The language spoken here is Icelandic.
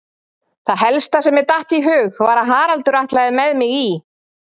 Það helsta sem mér datt í hug var að Haraldur ætlaði með mig í